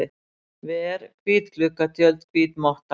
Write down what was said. ver, hvít gluggatjöld, hvít motta.